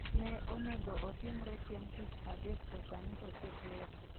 ne onego otimre chieng' tich adek to sani osechore